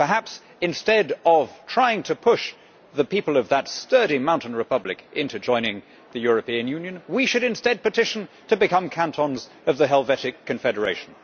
Perhaps, instead of trying to push the people of that sturdy mountain republic into joining the European Union, we should instead petition to become cantons of the Helvetic Confederation.